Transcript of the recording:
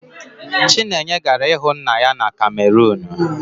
Chinenye gara ịhụ nna ya na kamerunu